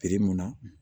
mun na